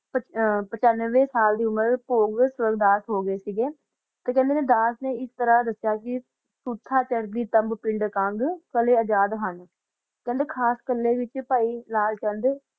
ਪਚਾਵ ਸਾਲ ਦੀ ਉਮੇਰ ਚ ਹੀ ਉਪਾਯਾਸ ਹੋ ਗਯਾ ਸੀ ਹ ਗਾ ਖਾਂਦਾ ਨਾ ਦਸ ਕਾ ਏਕ ਤਾਰਾ ਦਾ ਹ ਗਾ ਆ ਰੋਕਿਆ ਚ ਤਾਲ ਪਿੰਡ ਦਾਨ ਚ ਹੀ ਹੋਂਦਾ ਆ ਖਾਂਦਾ ਕਲ ਹੀ ਪਾਸ ਹੋਣਾ ਦਾ ਨਾ